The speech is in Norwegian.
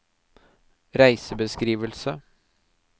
reisebeskrivelse